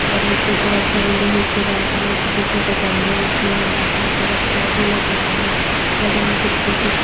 और नीचे बहोत सारे लोहे के रैक में छोटे-छोटे गमले रखे हुए है जिसमे पर पौधे लगे हुए है बगल में एक स्कूटी --